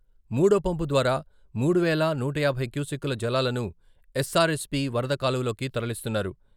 మూడో పంపు ద్వారా మూడు వేల నూట యాభై క్యూసెక్కుల జలాలను ఎస్సారెస్పీ వరద కాలువలోకి తరలిస్తున్నారు.